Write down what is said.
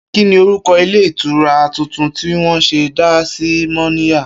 Kí ni orúko̩ ilé ìtura tuntun tí wó̩n sè̩ dá sí Mó̩níya?